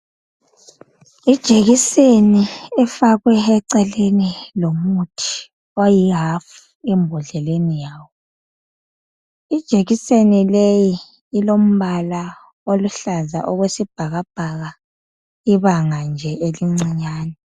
Ijekiseni efakwe eceleni lomuthi oyi half embhodleleni yawo. Ijekiseni leyi ilombala oluhlaza okwesibhakabhaka ibanga nje elincinyane